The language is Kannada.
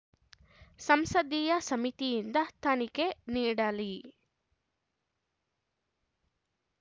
ಸಂಸದೀಯ ಸಮಿತಿಯಿಂದ ತನಿಖೆ ನೀಡಲಿ